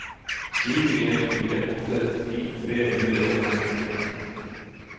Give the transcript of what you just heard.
sju en fire åtte ti tre hundre og femtien